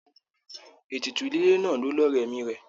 Ètùtù ìdílé náà ló lọrẹ ẹ̀mi rẹ.